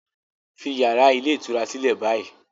Leave the hotel room now